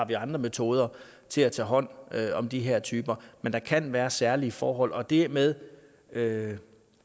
vi har andre metoder til at tage hånd om de her typer men der kan være særlige forhold og det med med